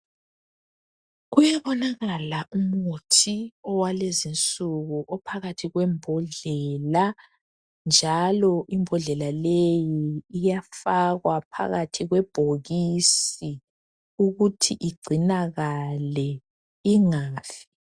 Kuyabonaka umuthi awalezinsuku ophakathi kwembodlela njalo imbodlela leyo iyafakwa phakathi kwebhokisi ukuthi igcinakale ingafi